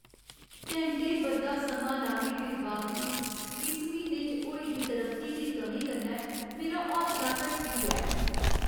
घैंटें बद्धा समां लाने दे बावजूद इस म्हीने च होई दी तरक्की दी कमी कन्नै मेरा हौसला ढट्ठी गेआ ऐ।